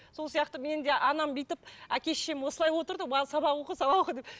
сол сияқты мені де анам бүйтіп әке шешем осылай отырды сабақ оқы сабақ оқы деп